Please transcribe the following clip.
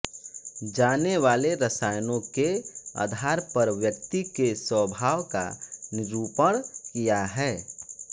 जाने वाले रसायनों के आधार पर व्यक्ति के स्वभाव का निरूपण किया है